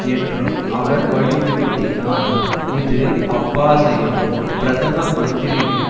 என்றும் அவர் வலியுறுத்தினார் இது அப்பாஸையும் பிரதம மந்திரியும்